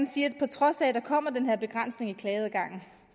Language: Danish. sige at på trods af at der kommer den her begrænsning af klageadgangen